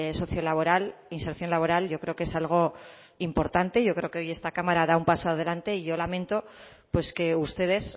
socio laboral inserción laboral yo creo que es algo importante yo creo que hoy esta cámara da un paso adelante y yo lamento pues que ustedes